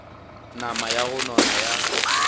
nama ya go nona ya